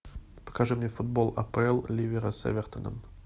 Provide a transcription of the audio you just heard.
покажи мне футбол апл ливера с эвертоном